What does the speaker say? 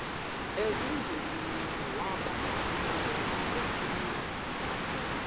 ezinzulwini waba selefika